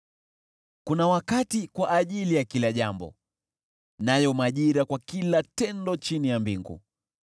Kuna wakati kwa ajili ya kila jambo, nayo majira kwa kila tendo chini ya mbingu: